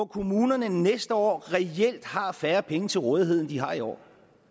kommunerne næste år reelt har færre penge til rådighed end de har i år